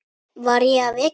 Var ég að vekja þig?